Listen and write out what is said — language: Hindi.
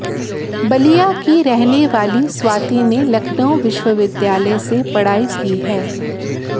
बलिया की रहने वाली स्वाति ने लखनऊ विश्वविद्यालय से पढ़ाई की है